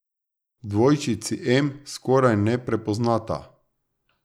Dvojčici em skoraj ne prepoznata.